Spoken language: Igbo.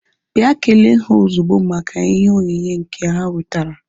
Bịa kelee ha ozugbo maka ihe onyinye nke ha wetara!